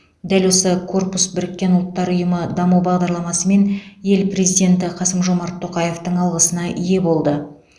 дәл осы корпус біріккен ұлттар ұйымы даму бағдарламасы мен ел президенті қасым жомарт тоқаевтың алғысына ие болды